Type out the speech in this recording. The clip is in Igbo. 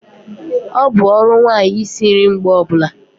Ọ bụ ọrụ nwanyị isi nri mgbe ọbula